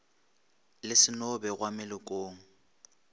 le se no begwa melokong